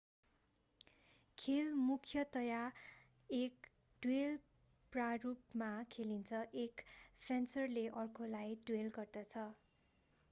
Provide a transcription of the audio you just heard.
खेल मुख्यतया एक ड्वेल प्रारूपमा खेलिन्छ एक फेन्सरले अर्कोलाई ड्वेल गर्दछ